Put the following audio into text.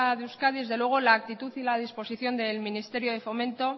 de euskadi desde luego la actitud y la disposición del ministerio de fomento